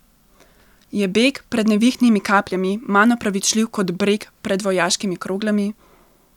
Je beg pred nevihtnimi kapljami manj opravičljiv kot breg pred vojaškimi kroglami?